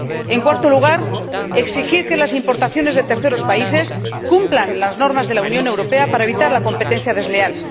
en cuarto lugar, exigir que las importaciones de terceros países cumplan las normas de la Unión Europea para evitar la competencia desleal.